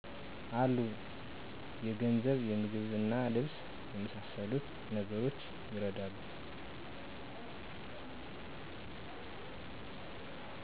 አሉ። የገንዘብ; ምግብና ልብስ የመሣሠሉትን ነገሮች ይረዳሉ።